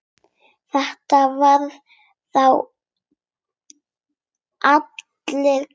Þetta var þá allur galdur.